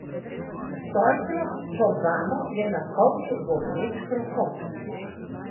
Stolpno sobano je napolnil bobneč krohot.